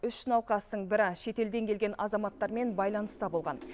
үш науқастың бірі шетелден келген азаматтармен байланыста болған